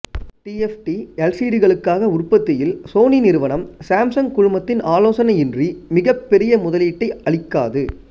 டிஎப்டிஎல்சிடிகளுக்காக உற்பத்தியில் சோனி நிறுவனம் சேம்சங் குழுமத்தின் ஆலோசனையின்றி மிகப்பெரிய முதலீட்டை அளிக்காது